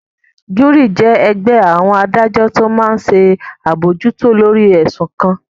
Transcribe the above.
Júúrì jẹ́ ẹgbẹ́ àwọn adájọ́ tó máa n ṣe àbojútó lórí ẹ̀sùn kan